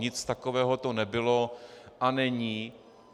Nic takového to nebylo a není.